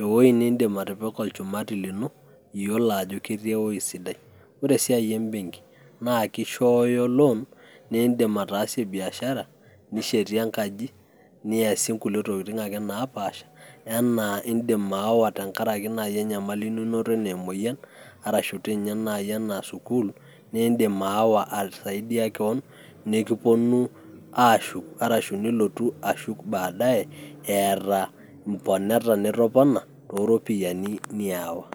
ewoi nindim atipika olchumati lino iyiolo ajo ketii ewuei sidai. ore esiai ebenki naa kishoyoo loan nindim ataasie biashara ,nishetie enkaji ,niasie nkulie tokitin ake naapaasha anaa indim aawa tenkaraki enyamali naji ninoto anaa emoyian arashu dii ninye naji anaa sukuul, nindim aawa aisaidia kewon nikiponu aashuk arashu nilotu ashuk baadaye eeta mponeta nitopona tooropiyiani niyau